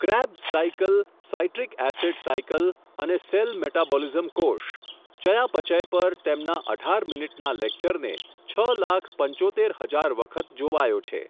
Crabs cycle, citric acid cycle અને cell metabolism કોષ, ચયાપચય પર તેમના અઢાર મિનિટના લેકચરને, છ લાખ પંચોતેર હજાર વખત જોવાયો છે.